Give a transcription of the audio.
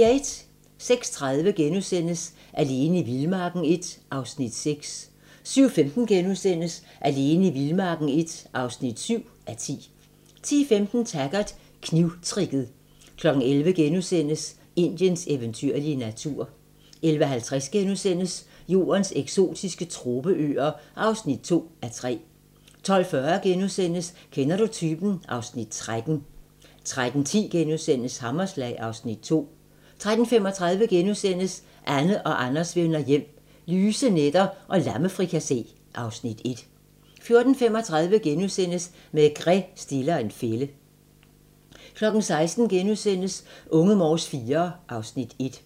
06:30: Alene i vildmarken I (6:10)* 07:15: Alene i vildmarken I (7:10)* 10:15: Taggart: Knivtricket 11:00: Indiens eventyrlige natur * 11:50: Jordens eksotiske tropeøer (2:3)* 12:40: Kender du typen? (Afs. 13)* 13:10: Hammerslag (Afs. 2)* 13:35: Anne og Anders vender hjem - lyse nætter og lammefrikassé (Afs. 1)* 14:35: Maigret stiller en fælde * 16:00: Unge Morse IV (Afs. 1)*